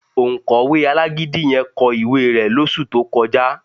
Òǹkọ̀wé alágídí yẹ kọ ìwé rẹ̀ lóṣù tó kọjá